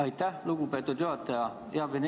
Aitäh, lugupeetud juhataja!